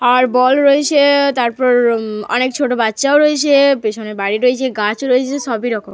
আর ball রয়েছে। তারপর অনেক ছোট বাচ্চাও রয়েছে। পিছনে বাড়ি রয়েছে গাছ রয়েছে সব রকম।